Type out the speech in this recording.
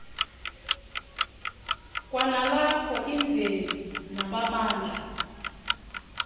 kwanalapho imveli namabandla